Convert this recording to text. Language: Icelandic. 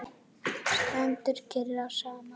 Stendur ykkur á sama?